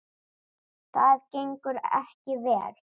Það gengur ekki vel.